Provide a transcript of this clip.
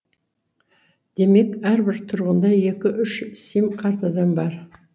демек әрбір тұрғында екі үш сим картадан бар